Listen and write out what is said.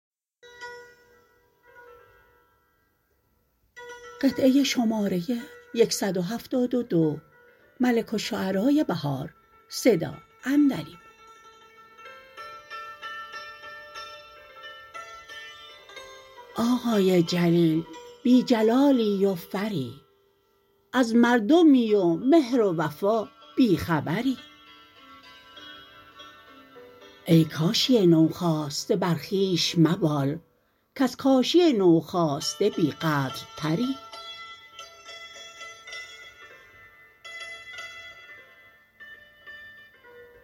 آقای جلیل بی جلالی و فری از مردمی و مهر و وفا بی خبری ای کاشی نوخاسته بر خوبش مبال کز کاشی نو ساخته بی قدرتری